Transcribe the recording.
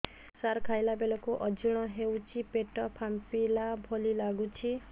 ସାର ଖାଇଲା ବେଳକୁ ଅଜିର୍ଣ ହେଉଛି ପେଟ ଫାମ୍ପିଲା ଭଳି ଲଗୁଛି